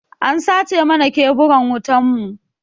An sace mana keburan wutan mu.